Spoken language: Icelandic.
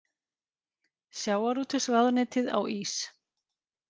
Sjávarútvegsráðuneytið á ís